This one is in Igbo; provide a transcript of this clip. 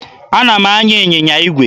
Ana m anya ịnyịnya igwe.